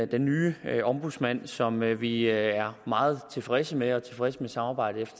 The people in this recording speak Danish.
den nye ombudsmand som vi vi er meget tilfredse med og tilfredse med samarbejdet